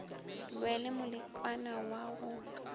lwe le moleko wa go